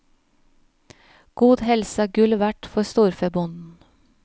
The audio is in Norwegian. God helse er gull verdt for storfebonden.